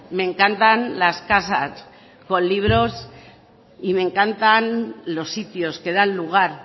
me encantan las casas con libros y me encantan los sitios que dan lugar